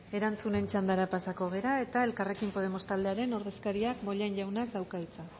erantzunen txandara pasako gara eta elkarrekin podemos taldearen ordezkariak bollain jaunak dauka hitza